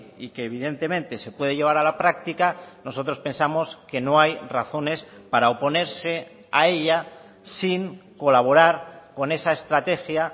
y que evidentemente se puede llevar a la práctica nosotros pensamos que no hay razones para oponerse a ella sin colaborar con esa estrategia